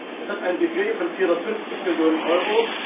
Es hat ein Budget von 450 Millionen Euro.